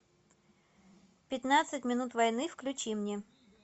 пятнадцать минут войны включи мне